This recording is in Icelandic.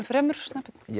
fremur